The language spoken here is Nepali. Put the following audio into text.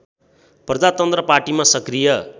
प्रजातन्त्र पार्टीमा सक्रिय